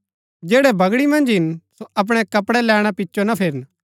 जैड़ै बगड़ी मन्ज हिन सो अपणै कपड़ै लैणा पिचो ना फिरन